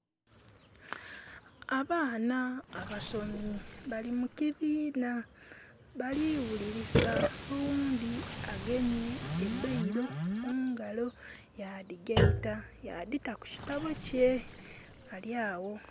Abaana abasomi bali mu kibiina. Bali ghulirisa. Oghundi agemye e bailo mungalo yadhigaita, yadhita ku kitabo kye. Ali awo.